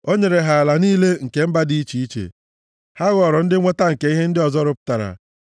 o nyere ha ala niile nke mba dị iche iche, ha ghọrọ ndị nnweta nke ihe ndị ọzọ rụpụta,